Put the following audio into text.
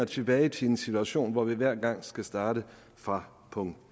tilbage til en situation hvor vi hver gang skal starte fra punkt